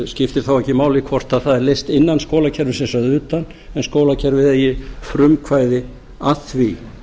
skiptir þá ekki máli hvort það er leyft innan skólakerfisins eða utan en skólakerfið eigi frumkvæði að því